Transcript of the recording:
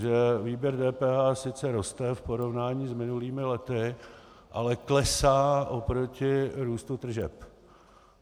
Že výběr DPH sice roste v porovnání s minulými lety, ale klesá oproti růstu tržeb.